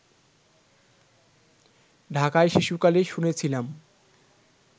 ঢাকায় শিশুকালে শুনেছিলাম